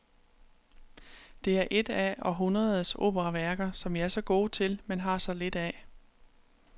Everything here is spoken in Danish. Det er et af århundredes operaværker som vi er så gode til, men har så lidt af.